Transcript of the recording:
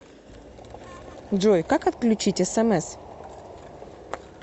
джой как отключить смс